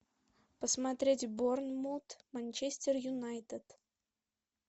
посмотреть борнмут манчестер юнайтед